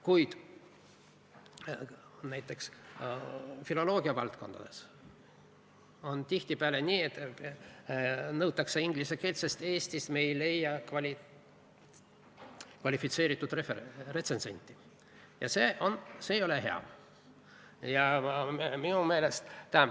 Kuid näiteks filoloogia valdkondades on tihtipeale nii, et nõutakse inglise keelt, sest Eestist me ei leia kvalifitseeritud retsensenti, ja see ei ole hea.